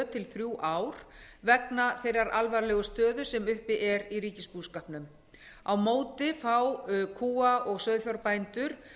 til þrjú ár vegna þeirrar alvarlegu stöðu sem uppi er í ríkisbúskapnum á móti fá kúa og sauðfjárbændur